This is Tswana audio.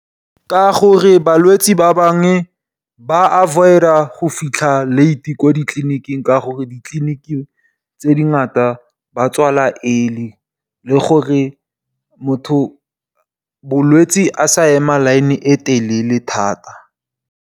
Ka gore balwetsi ba bangwe ba avoid-a go fitlha late ko ditliliniking ka gore ko ditliliniking tse dingata ba tswala early, le gore motho, molwetsi a sa ema line e telele thata.